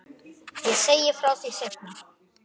Ég segi frá því seinna.